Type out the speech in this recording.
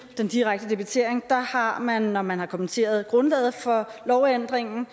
den direkte debitering er man når man har kommenteret grundlaget for lovændringen